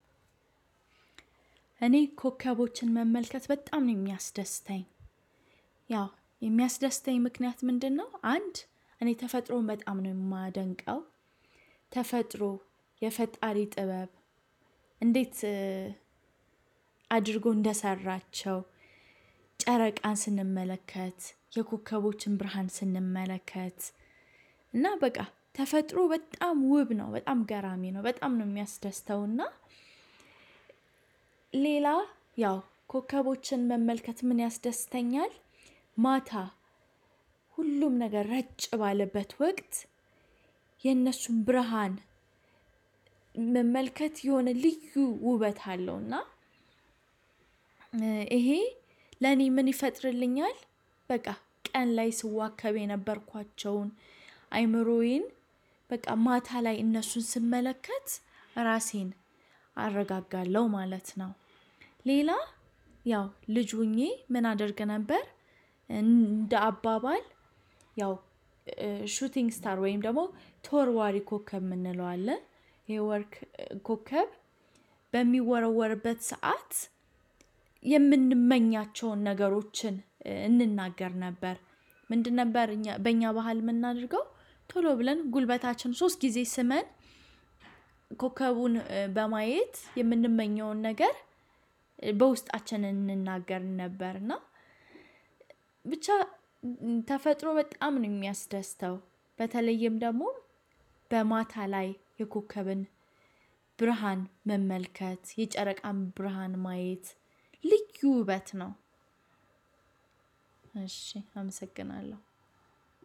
እኔ ኮከቦችን መመልከት በጣም ነው የሚያስደስተኝ። ያው የሚያስደስተኝ ምክንያት ምንድነው? አንድ እኔ ተፈጥሮን በጣም ነው የማደንቀው። ተፈጥሮ የፈጣሪ ጥበብ እንዴት አድርጎ እንደሰራቸው ጨረቃን ስንመለከት የኮከቦችን ብርሃን ስንመለከት፤ እና በቃ ተፈጥሮ በጣም ውብ ነው። በጣም ገራሚ ነው። በጣም ነው የሚያስደስተውና ሌላ ያው ኮከቦችን መመልከት ምን ያስደስተኛል? ማታ ሁሉም ነገር ረጭ ባለበት ወቅት የነሱን ብርሃን መመልከት የሆነ ልዩ ውበት አለው። እና ይሄ ለኔ ምን ይፈጥርልኛል? በቃ ቀን ላይ ስዋከብ የነበርኳቸዉን አእምሮዬን በቃ ማታ ላይ እነሱን ስመለከት ራሴን አረጋጋለሁ ማለት ነው። ሌላ ያው ልጅ ሆኜ ምን አደርግ ነበር እንደ አባባል ያው ሹቲንግ ስታር ወይም ደግሞ ቶርዋሪ ኮከብ የምንለው አለ ይሄ ወርክ ኮከብ በሚወረወርበት ሰዓት የምንመኛቸውን ነገሮችን እንናገር ነበር። ምንድን ነበር በእኛ በእኛ ባህል የምናደርገው ቶሎ ብለን ጉልበታችን ሶስት ጊዜ ስመን ኮከቡን በማየት የምንመኘውን ነገር በውስጣችን እንናገር ነበር። እና ብቻ ተፈጥሮ በጣም ነው የሚያስደስተው። በተለይም ደግሞ በማታ ላይ የኮከብን ብርሃን መመልከት የጨረቃም ብርሃን ማየት ልዩ ውበት ነው። እሺ አመሰግናለሁ።